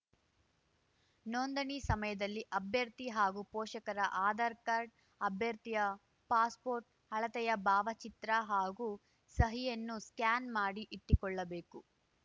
ನೊಂದಣಿ ಸಮಯದಲ್ಲಿ ಅಭ್ಯರ್ಥಿ ಮತ್ತು ಪೋಷಕರ ಆಧಾರ್‌ಕಾರ್ಡ್‌ ಅಭ್ಯರ್ಥಿಯ ಪಾಸ್‌ಪೋರ್ಟ್‌ ಅಳತೆಯ ಭಾವಚಿತ್ರ ಹಾಗೂ ಸಹಿಯನ್ನು ಸ್ಕ್ಯಾನ್ ಮಾಡಿ ಇಟ್ಟುಕೊಳ್ಳಬೇಕು